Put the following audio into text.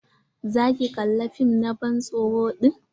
Za ki kalla fim na ban tsoro din?